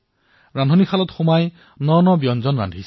পাকঘৰত নতুন নতুন খাদ্য প্ৰস্তুত কৰিছে